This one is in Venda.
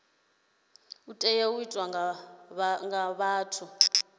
tea u itwa nga muthu